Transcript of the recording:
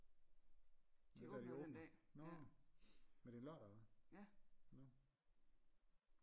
Er det den dag de åbner nå men det er en lørdag eller hvad nå